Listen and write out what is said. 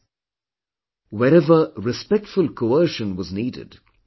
Wherever respectful coercion was needed, he proceeded gently